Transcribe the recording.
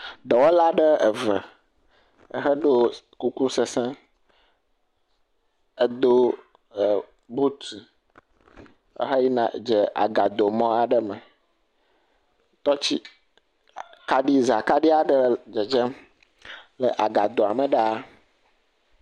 Dɔwɔla aɖe eve eheɖo kuku sesẽ, edo e buti ehe yina dze agadomɔ aɖe me. Tɔtsi kaɖi zãkaɖi aɖe le dzedzem le agadoa me ɖaa.